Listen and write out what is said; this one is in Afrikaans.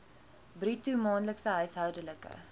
bruto maandelikse huishoudelike